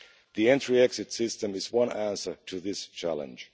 The Entry Exit System is one answer to this challenge.